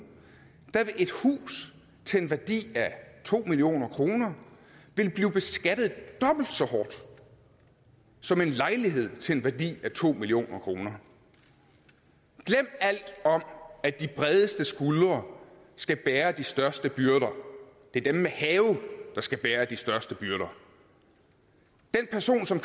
et hus til en værdi af to million kroner blive beskattet dobbelt så hårdt som en lejlighed til en værdi af to million kroner glem alt om at de bredeste skuldre skal bære de største byrder det er dem med have der skal bære de største byrder den person som